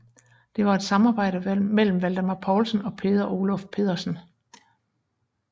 Det var et samarbejde mellem Valdemar Poulsen og Peder Oluf Pedersen